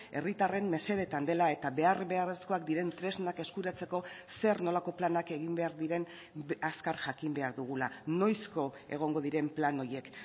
herritarren mesedeetan dela eta behar beharrezkoak diren tresnak eskuratzeko zer nolako planak egin behar diren azkar jakin behar dugula noizko egongo diren plan horiek